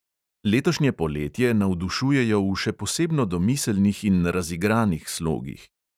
Letošnje poletje navdušujejo v še posebno domiselnih in razigranih slogih.